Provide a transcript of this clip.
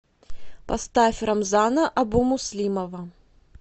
поставь рамзана абумуслимова